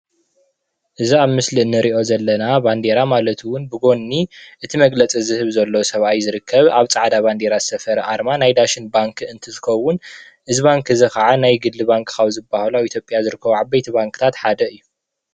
እዚ አብ ምሰሊ እነሪኦ ዘለና ባንዴራ ማለት እውን ብጎኒ እቲ መግለፂ ዝህብ ዘሎ ሰብአይ ዝርከብ አብ ፃዕዳ ባንዴራ ዝሰፈረ አርማ ናይ ዳሽን ባንኪ እንትትኸውን፤ እዚ ባንኪ እዚ ከዓ ናይ ግሊ ባንኪ ካብ ዝበሃሉ አብ ኢትዮጵያ ዝርከቡ ዓበይቲ ባንኪታት ሓደ እዩ፡፡